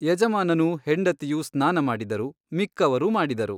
ಯಜಮಾನನೂ ಹೆಂಡತಿಯೂ ಸ್ನಾನ ಮಾಡಿದರು ಮಿಕ್ಕವರೂ ಮಾಡಿದರು.